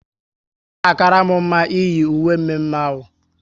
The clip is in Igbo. Ọ na akara m mma iyi uwe mme mme ahụ